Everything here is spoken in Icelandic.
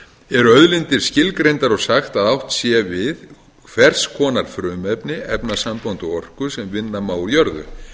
auðlindir skilgreindar og sagt að átt sé við hvers konar frumefni efnasambönd og orku sem vinna má úr jörðu